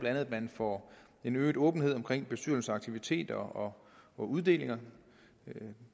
at man får en øget åbenhed om bestyrelsesaktiviteter og uddelinger